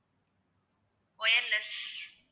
wireless